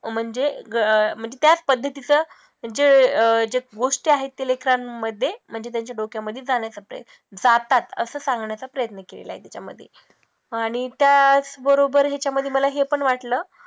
म्हणजे अं म्हणजे त्याच पद्धतीचं जे अं जे गोष्टी आहे ते लेकरांमध्ये म्हणजे त्यांच्या डोक्यामधी जाण्याचा प्रयत्न जातात असं सांगण्याचा प्रयत्न केला आहे त्याच्यामधी आणि त्याच बरोबर त्याच्यामधी मला हे पण वाटलं